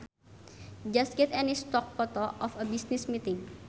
Just get any stock photo of a business meeting